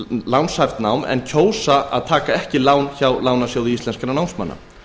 lánshæft nám en kjósa að taka ekki lán hjá lánasjóði íslenskra námsmanna